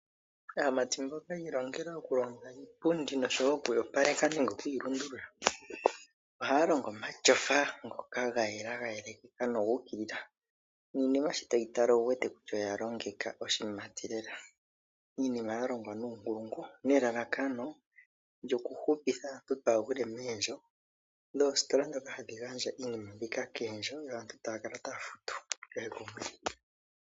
Aamati mboka ya ilongela okulonga iipundi nosho wo oku yi opaleka nenge okuyi lundulula, ohaya longo omatyofa ngoka ga yela gayelekeka noga ukilila, niinima shi toyi tala owu wete kutya oya longeka oshimati lela. Iinima ya longwa nuunkulungu nelalakano lyokuhupitha aantu kaa ya gwile moondjo dhoositola ndhoka hadhi gandja iinima mbika koondjo yo aantu ta ya kala taya futu kehe komwedhi.